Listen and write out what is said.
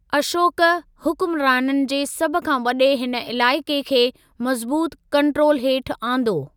अशोक, हुक्मराननि जे सभ खां वॾे हिन इलाइक़े खे मज़बूतु कंट्रोल हेठि आंदो।